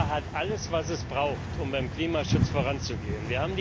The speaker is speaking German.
Europa hat alles, was es braucht, um beim Klimaschutz voranzugehen.